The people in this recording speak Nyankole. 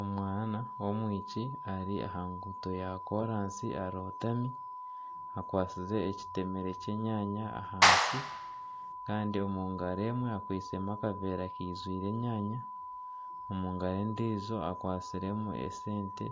Omwaana w'omwishiki ari aha nguuto ya koraasi arotami akwatsize ekitemere ky'enyaanya ahansi kandi omungaro emwe akwisemu akaveera kijwiremu enyaanya, omungaro endijo akwatsiremu esente